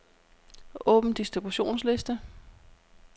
Åbn distributionsliste.